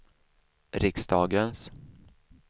riksdagens